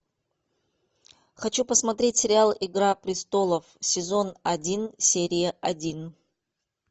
хочу посмотреть сериал игра престолов сезон один серия один